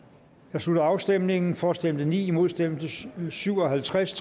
jeg slutter afstemningen for stemte ni imod stemte syv og halvtreds